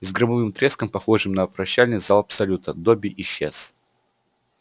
и с громовым треском похожим на прощальный залп салюта добби исчез